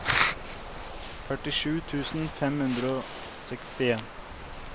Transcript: førtisju tusen fem hundre og sekstien